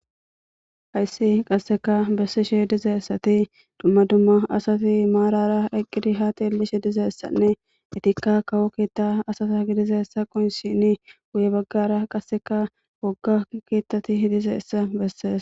hayssi qasseka bessishe dizaessati dumma dumma asafi maarara eqqidi haati ellishe dizaessanne itikka kawo keetta asata gidizeessa qoyinsini guye baggara qasseka gogga keettati hidiseessa besseesa